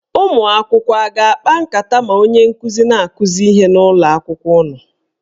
Ụmụakwụkwọ a na-akpa nkata ma onye nkụzi na-akụzi ihe n'ụlọakwụkwọ unu?